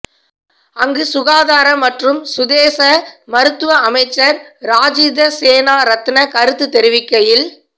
அங்கு சுகாதார மற்றும் சுதேச மருத்துவ அமைச்சர் ராஜித சேனாரத்ன கருத்து தெரிவிக்கையில்